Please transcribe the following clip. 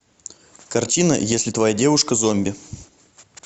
картина если твоя девушка зомби